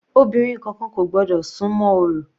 Obìnrin kankan kò gbọ́dọ̀ súnmọ́ orò.